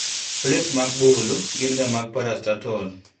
Plets mag buluu gin ga mag parastatol.